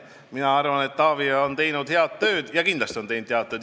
Mina arvan, et Taavi tegi kindlasti head tööd.